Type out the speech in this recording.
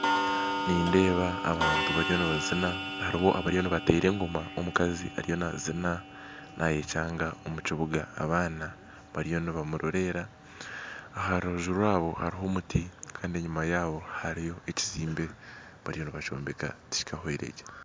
Nindeeba abantu bariyo nibazina haruho abariyo nibatera engoma omukazi ariyo nazina nayekyanga omukibuga abaana bariyo nibamurorera aharubaju rwabo haruho omuti kandi enyuma yabo hariyo ekizimbe bariyo nibakyombeka tikikahwiregye.